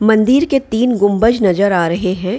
मंदिर के तीन गुम्बज नजर आ रहे है।